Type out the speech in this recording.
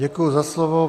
Děkuji za slovo.